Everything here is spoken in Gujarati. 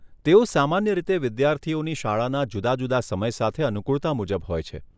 તેઓ સામાન્ય રીતે વિદ્યાર્થીઓની શાળાના જુદા જુદા સમય સાથે અનુકૂળતા મુજબ હોય છે.